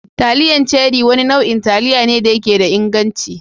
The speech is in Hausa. Taliyan Cherie Wani nau'in taliya ne da yake da inganci.